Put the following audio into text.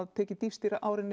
tekið dýpst í árinni